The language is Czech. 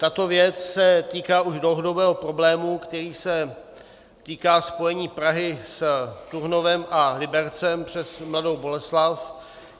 Tato věc se týká už dlouhodobého problému, který se týká spojení Prahy s Turnovem a Libercem přes Mladou Boleslav.